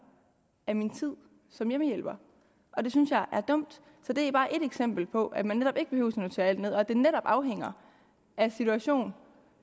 af min tid som hjemmehjælper og det synes jeg er dumt så det er bare et eksempel på at man netop ikke behøver notere alt ned at det netop afhænger af situationen